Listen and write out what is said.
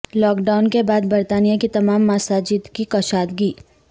lock down کے بعد برطانیہ کی تمام مساجد کی کشادگی